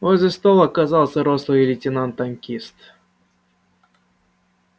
возле стол оказался рослый лейтенант-танкист